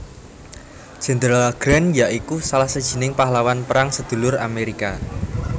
Jenderal Grant ya iku salah sijining pahlawan Perang Sedulur Amerika